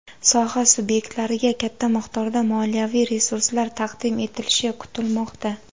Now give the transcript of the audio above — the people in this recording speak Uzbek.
soha subyektlariga katta miqdorda moliyaviy resurslar taqdim etilishi kutilmoqda.